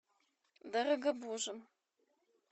дорогобужем